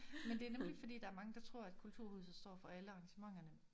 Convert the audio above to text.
Men det nemlig fordi der er mange der tror at kulturhuset står for alle arrangementerne